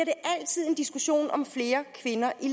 diskussion om flere kvinder i